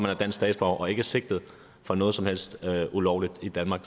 er dansk statsborger og ikke er sigtet for noget som helst ulovligt i danmark